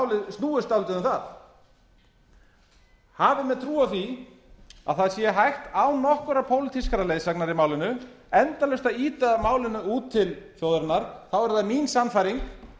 málið snúist dálítið um það hafa menn trú á því að það sé hægt án nokkurrar pólitískrar leiðsagnar í málinu endalaust að ýta málinu út til þjóðarinnar þá er það mín sannfæring